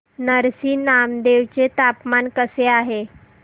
नरसी नामदेव चे तापमान कसे आहे